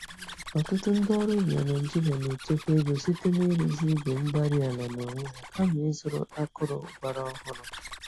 Ọtụtụ ndị ọrụ ubi na Nigeria na-echekwa ego site n'ịrụzi igwe-mgbárí-ala n'onwe ha kama ịzụrụ akụrụ- gwàrà ọhụrụ.